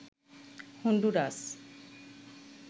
Honduras